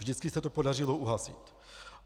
Vždycky se to podařilo uhasit.